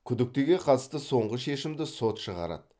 күдіктіге қатысты соңғы шешімді сот шығарады